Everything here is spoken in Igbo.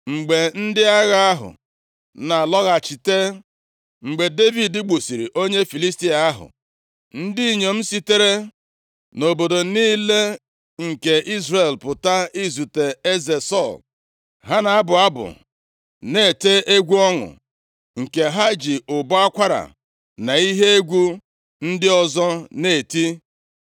Mgbe ndị agha ahụ na-alọghachite, mgbe Devid gbusịrị onye Filistia + 18:6 Ya bụ, Golaịat ahụ, ndị inyom + 18:6 \+xt Ọpụ 15:20\+xt* sitere nʼobodo niile nke Izrel pụta izute eze Sọl. Ha na-abụ abụ na-ete egwu ọṅụ, nke ha ji ụbọ akwara na ihe egwu ndị ọzọ na-eti.